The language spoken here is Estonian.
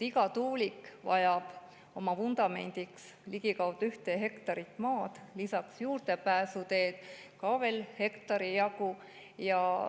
Iga tuulik vajab oma vundamendi jaoks ligikaudu ühte hektarit maad, juurdepääsuteedele veel lisaks hektari jagu maad.